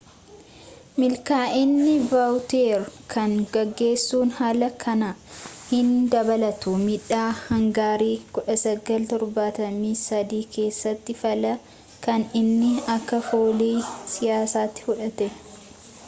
milkaa'ini vawuteer kan gaggeessun alaa kan inni dabalatu midhaa hangarii 1973 keessatti fallaa kan inni akka foolii siyaasati fudhate